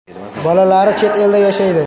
Bolalari chet elda yashaydi.